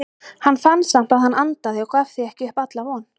Hann fann samt að hann andaði og gaf því ekki upp alla von.